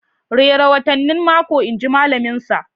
Rera watannin mako inji malaminsa